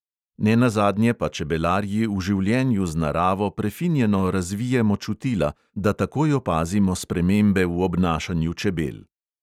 Nenazadnje pa čebelarji v življenju z naravo prefinjeno razvijemo čutila, da takoj opazimo spremembe v obnašanju čebel.